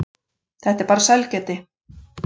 Þetta er bara sælgæti.